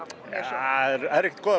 þær eru ekkert góðar